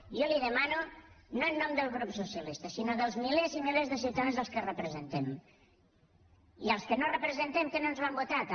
jo li demano no en nom del grup socialista sinó dels milers i milers de ciutadans que representem i dels que no representem que no ens van votar també